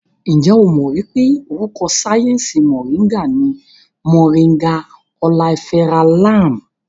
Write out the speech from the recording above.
Ǹjẹ́ o mọ̀ wípé orúkọ sáyẹnsì Mọ̀ríngà ní Moringa oleifera Lam?